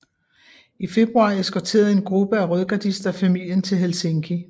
I februar eskorterede en gruppe af rødgardister familien til Helsinki